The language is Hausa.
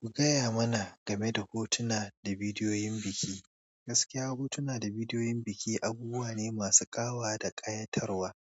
Ku gaya mana game da hotuna da bidiyoyin biki. Gaskiya hotuna da bidiyoyin biki abubuwa ne masu ƙawa da ƙayatarwa,